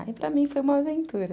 Aí, para mim, foi uma aventura.